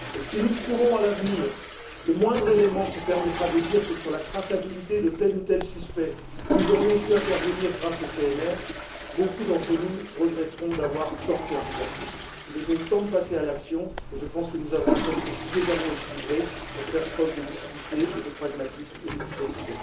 Si nous trouvons à l'avenir le moindre élément qui permette de dire que, sur la traçabilité de tel ou tel suspect, nous aurions pu intervenir grâce au PNR, beaucoup d'entre nous regretteront d'avoir tant tergiversé. Il est donc temps de passer à l'action et je pense que nous avons un texte suffisamment équilibré pour faire preuve de lucidité, de pragmatisme et d'efficacité.